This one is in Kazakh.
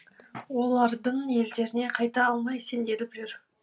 олардың елдеріне қайта алмай сенделіп жүр